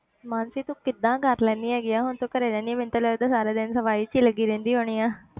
ਮਾਨਸੀ ਤੂੰ ਕਿੱਦਾਂ ਕਰ ਲੈਨੀ ਹੈਗੀ ਆਂ ਹੁਣ ਤੂੰ ਘਰੇ ਰਹਿਨੀ ਹੈ ਮੈਨੂੰ ਤੇ ਲੱਗਦਾ ਸਾਰਾ ਦਿਨ ਸਫ਼ਾਈ 'ਚ ਹੀ ਲੱਗੀ ਰਹਿੰਦੀ ਹੋਣੀ ਆਂ।